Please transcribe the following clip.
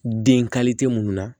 Den minnu na